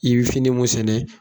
I be fini mun sɛnɛ